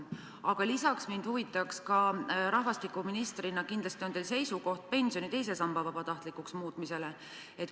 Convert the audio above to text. Aga lisaks mind huvitab see, et rahvastikuministrina on teil kindlasti seisukoht ka pensioni teise samba vabatahtlikuks muutmise osas.